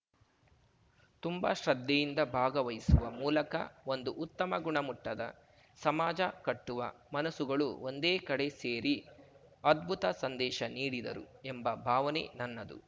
ತುಂಬ ಶ್ರದ್ಧೆಯಿಂದ ಭಾಗವಹಿಸುವ ಮೂಲಕ ಒಂದು ಉತ್ತಮ ಗುಣಮಟ್ಟದ ಸಮಾಜ ಕಟ್ಟುವ ಮನಸ್ಸುಗಳು ಒಂದೇ ಕಡೆ ಸೇರಿ ಅದ್ಭುತ ಸಂದೇಶ ನೀಡಿದರು ಎಂಬ ಭಾವನೆ ನನ್ನದು